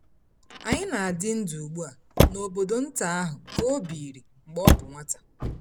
Anyị na-adị ndụ ugbu a n’obodo nta ahụ ka ọ biiri mgbe ọ bụ nwata.